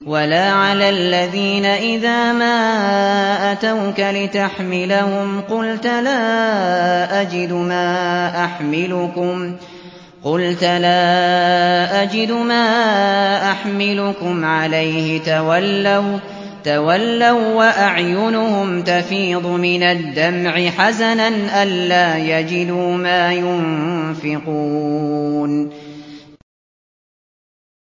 وَلَا عَلَى الَّذِينَ إِذَا مَا أَتَوْكَ لِتَحْمِلَهُمْ قُلْتَ لَا أَجِدُ مَا أَحْمِلُكُمْ عَلَيْهِ تَوَلَّوا وَّأَعْيُنُهُمْ تَفِيضُ مِنَ الدَّمْعِ حَزَنًا أَلَّا يَجِدُوا مَا يُنفِقُونَ